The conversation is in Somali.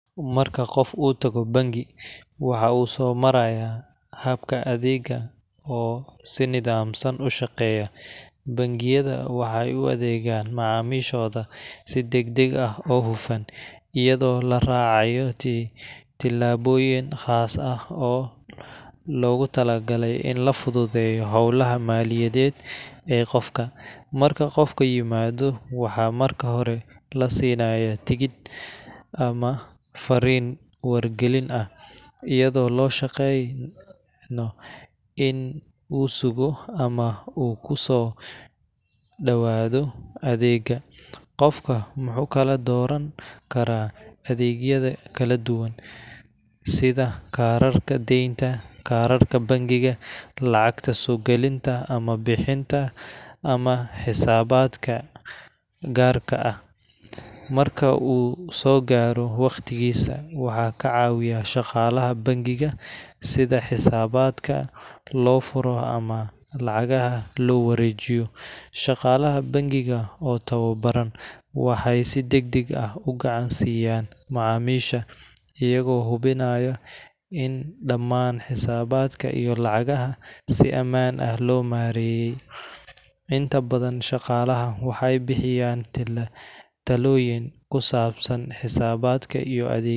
Marka qof uu tago bangi, waxa uu soo marayaa habka adeegga oo si nidaamsan u shaqeeya. Bangiyada waxay u adeegaan macaamiishooda si degdeg ah oo hufan, iyadoo la raacayo tillaabooyin khaas ah oo loogu talagalay in la fududeeyo howlaha maaliyadeed ee qofka. Marka qofku yimaado, waxaa marka hore la siinayaa tigidh ama fariin wargelin ah, iyadoo loo sheegayso in uu sugo ama uu ku soo dhawaado adeegga. Qofka wuxuu kala dooran karaa adeegyo kala duwan sida kaararka deynta, kaararka bangiga, lacagta soo gelinta ama bixinta ama xisaabaadka gaarka ah. Marka uu soo gaaro waqtigiisa, waxaa ka caawiya shaqaalaha bangiga sida xisaabaadka loo furayo ama lacagaha loo wareejiyo. Shaqaalaha bangiga, oo tababaran, waxay si degdeg ah u gacan-siiyan macaamiisha, iyagoo hubinaya in dhammaan xisaabaadka iyo lacagaha si ammaan ah loo maareeyo. Inta badan, shaqaalaha waxay bixiyaan talooyin ku saabsan xisaabaadka iyo adeegyada.